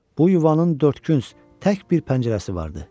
Bu yuvanın dördkünc, tək bir pəncərəsi vardı.